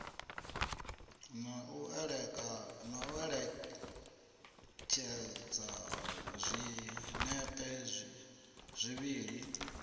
na u ṋekedza zwinepe zwivhili